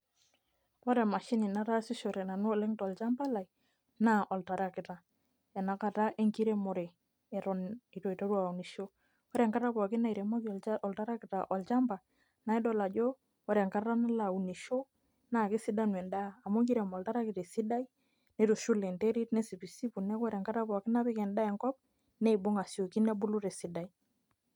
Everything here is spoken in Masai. ore emashini nataasishore nanu oleng tolchamapa lai naa oltaraakita. ena kata enkiremore. eton eitu aiteru aunisho. ore enkata pookin nairem oltarakita olchamapa, naa idol ajo. ore enkata nilo aunisho naa kesidanu edaa, amu kirem oltarakita esidai nitushul enterit nesipisipu, neeku ore enkata ppokin natipiki edaaa enkop neibung aisioki nebulu tesidai.